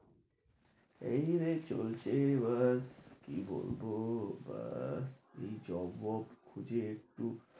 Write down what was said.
এই যো রে এই চলছে। এবার কি বলব আর এই job ফব খুঁজে একটু,